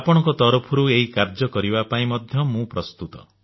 ଆପଣଙ୍କ ତରଫରୁ ଏହି କାର୍ଯ୍ୟ କରିବା ପାଇଁ ମୁଁ ମଧ୍ୟ ପ୍ରସ୍ତୁତ